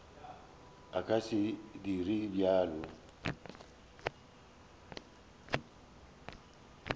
a ka se dire bjalo